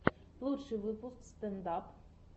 лучший выпуск стэнд ап